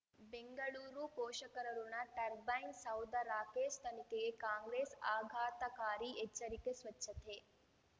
ಬೆಂಗಳೂರು ಪೋಷಕರಋಣ ಟರ್ಬೈನ್ ಸೌಧ ರಾಕೇಶ್ ತನಿಖೆಗೆ ಕಾಂಗ್ರೆಸ್ ಆಘಾತಕಾರಿ ಎಚ್ಚರಿಕೆ ಸ್ವಚ್ಛತೆ